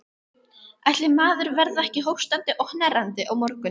Ætli maður verði ekki hóstandi og hnerrandi á morgun.